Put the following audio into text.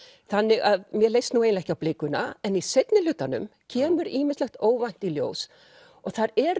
þannig að mér leist nú eiginlega ekki á blikuna en í seinni hlutanum kemur ýmislegt óvænt í ljós og þar eru